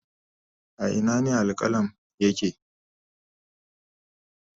A Ina ne Al-qualm yake